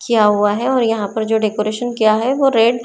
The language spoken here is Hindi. क्या हुआ है और यहां पर जो डेकोरेशन किया है वो रेड --